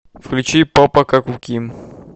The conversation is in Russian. включи попа как у ким